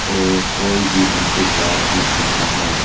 और कोई भी इनसे कार सीख सकता है।